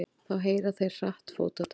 Þá heyra þeir hratt fótatak.